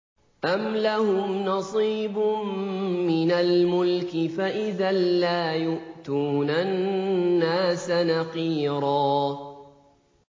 أَمْ لَهُمْ نَصِيبٌ مِّنَ الْمُلْكِ فَإِذًا لَّا يُؤْتُونَ النَّاسَ نَقِيرًا